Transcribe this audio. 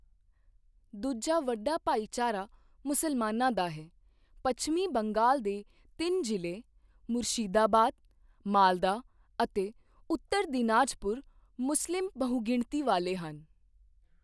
ਦੂਜਾ ਵੱਡਾ ਭਾਈਚਾਰਾ ਮੁਸਲਮਾਨਾਂ ਦਾ ਹੈ, ਪੱਛਮੀ ਬੰਗਾਲ ਦੇ ਤਿੰਨ ਜ਼ਿਲ੍ਹੇ ਮੁਰਸ਼ਿਦਾਬਾਦ, ਮਾਲਦਾ ਅਤੇ ਉੱਤਰ ਦਿਨਾਜਪੁਰ ਮੁਸਲਿਮ ਬਹੁਗਿਣਤੀ ਵਾਲੇ ਹਨ।